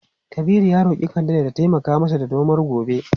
Kabiru ya roki kande da ta taimaka masa da nomar gobe.